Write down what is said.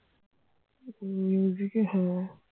এ হ্যাঁ